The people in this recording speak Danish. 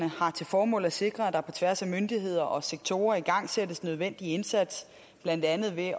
har til formål at sikre at der på tværs af myndigheder og sektorer igangsættes den nødvendige indsats blandt andet ved